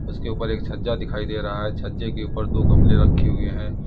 उसके ऊपर एक छज्जा दिखाई दे रहा है छज्जे के ऊपर दो गमले रखे हुए हैं।